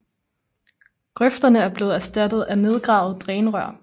Grøfterne er blevet erstattet af nedgravede drænrør